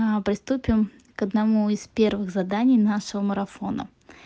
аа приступим к одному из первых заданий нашего марафона